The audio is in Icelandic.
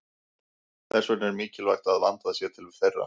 Þess vegna er mikilvægt að vandað sé til þeirra.